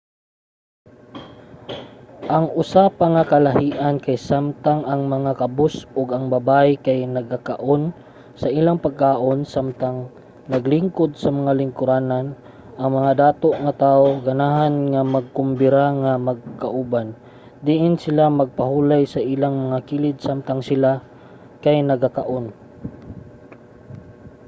ang usa pa nga kalahi-an kay samtang ang mga kabus ug ang babaye kay nagkaon sa ilang pagkaon samtang naglingkod sa mga lingkuranan ang mga dato nga tawo ganahan nga magkombira nga magkauban diin sila magpahulay sa ilang mga kilid samtang sila kay nagakaon